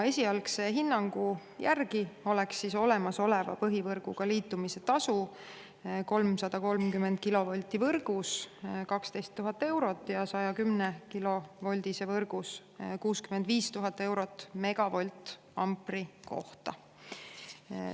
Esialgse hinnangu järgi oleks olemasoleva põhivõrguga liitumise tasu 330‑kilovoldises võrgus 12 000 eurot ja 110‑kilovoldises võrgus 65 000 eurot megavoltampri kohta.